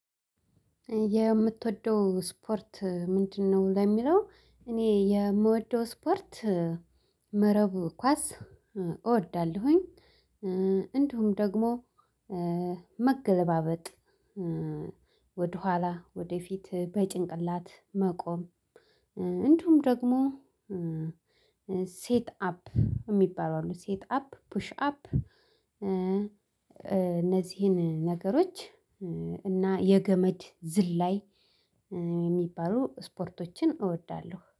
የምትወደው ስፖርት ምንድነው ለሚለው እኔ የምወደው ስፖርት መረቡ ኳስ እወዳለሁኝ እንዲሁም ደግሞ መገለባበጥ ወደኋላ ወደፊት በጭንቅላት መቆም፤ እንደውም ደግሞ ሴት አፕ የሚባለው ሴት አፕ ፑሽ አፕ እነዚህን ነገሮች እና የገመድ ዝላይ የሚባሉ ስፖርቶችን እወዳለሁ።